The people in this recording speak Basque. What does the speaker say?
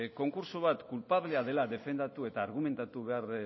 konkurtso bat kulpablea dela defendatu eta argumentatu behar